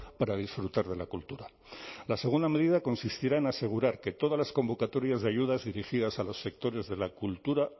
para disfrutar de la cultura la segunda medida consistirá en asegurar que todas las convocatorias de ayudas dirigidas a los sectores de la cultura